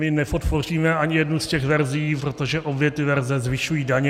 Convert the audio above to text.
My nepodpoříme ani jednu z těch verzí, protože obě ty verze zvyšují daně.